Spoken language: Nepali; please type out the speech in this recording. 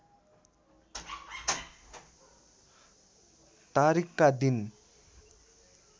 तारिकका दिन